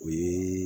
O ye